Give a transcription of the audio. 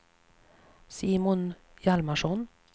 Simon Hjalmarsson